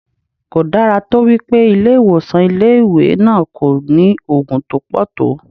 Kò dára tó wípé ilé ìwòsàn ilé ìwé náà kò ní Ògùn tó pọ̀ tó.